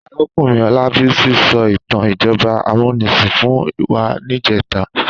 Àrákúnrín Olabisi sò itàn ijòbá àmúnisín fún wá nijètá